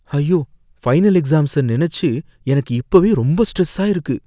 ஐயோ! Final exams நனைச்சு எனக்கு இப்பவே ரொம்ப ஸ்ட்ரெஸ்ஸா இருக்கு